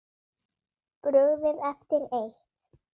Brugðið eftir eitt.